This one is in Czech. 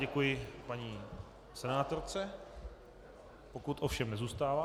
Děkuji paní senátorce, pokud ovšem nezůstává.